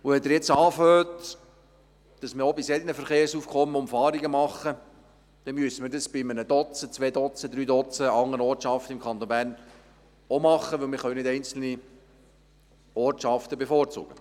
Wenn Sie jetzt sagen, dass man auch bei solchen Verkehrsaufkommen Umfahrungen bauen solle, dann müsste man dies bei einem bis drei Dutzend anderen Ortschaften im Kanton Bern auch tun, denn wir können nicht einzelne Ortschaften bevorzugen.